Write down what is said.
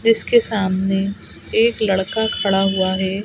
जिसके सामने एक लड़का खड़ा हुआ है।